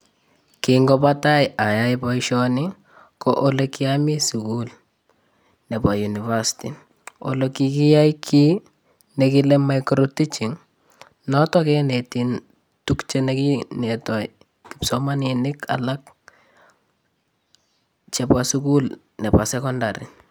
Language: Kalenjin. Kin kobo tai oyoe boishoni ko ole kiomii sukul nebo university ole kikiyoe kii nekile mcro teaching noton kenetii tuk chekineto kipsomaninik alak chebo sukul nebo secondary.